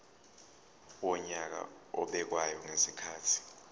wonyaka obekwayo ngezikhathi